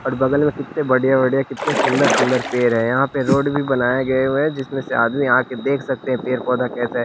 और बगल में कितने बढ़िया बढ़िया कितने सुंदर सुंदर पेड़ हैं यहां पे रोड भी बनाए गए हुए हैं जिसमें से आदमी आ के देख सकते है पेड़ पौधा कैसा है।